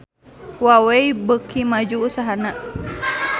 Huawei beuki maju usahana